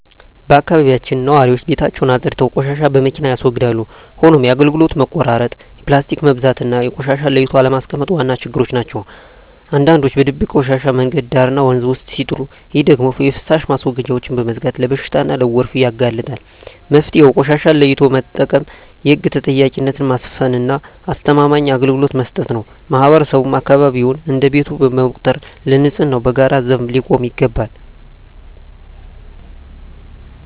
በአካባቢያችን ነዋሪዎች ቤታቸውን አፅድተው ቆሻሻን በመኪና ያስወግዳሉ። ሆኖም የአገልግሎት መቆራረጥ፣ የፕላስቲክ መብዛትና ቆሻሻን ለይቶ አለማስቀመጥ ዋና ችግሮች ናቸው። አንዳንዶች በድብቅ ቆሻሻን መንገድ ዳርና ወንዝ ውስጥ ሲጥሉ፣ ይህ ደግሞ የፍሳሽ ማስወገጃዎችን በመዝጋት ለበሽታና ለጎርፍ ያጋልጣል። መፍትሄው ቆሻሻን ለይቶ መጠቀም፣ የህግ ተጠያቂነትን ማስፈንና አስተማማኝ አገልግሎት መስጠት ነው። ማህበረሰቡም አካባቢውን እንደ ቤቱ በመቁጠር ለንፅህናው በጋራ ዘብ ሊቆም ይገባል።